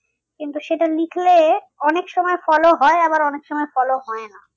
কিন্তু সেটা লিখলে অনেক সময় follow হয় আবার অনেক সময় follow হয় না।